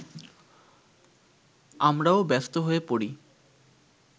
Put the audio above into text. আমরাও ব্যস্ত হয়ে পড়ি